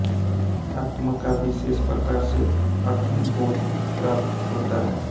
आत्मा का विशेष प्रकार से अंतर्बोध प्राप्त होता है